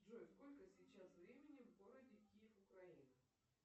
джой сколько сейчас времени в городе киев украина